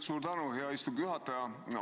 Suur tänu, hea istungi juhataja!